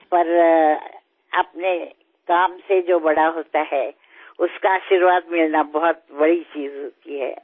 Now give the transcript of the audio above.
కానీ ఎవరైతే తన పనుల వల్ల పెద్దవారౌతారో వారి ఆశీర్వాదం లభించడం ఎంతో గొప్ప విషయం